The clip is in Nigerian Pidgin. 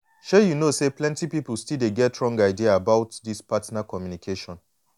shay you know say plenty people still dey get wrong ideas about this partner communication.